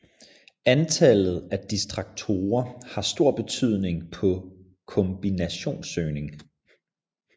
Antallet af distraktorer har stor betydning på kombinationssøgning